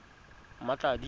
mmatladi